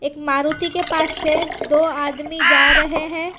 मारुति के पास से दो आदमी जा रहे हैं।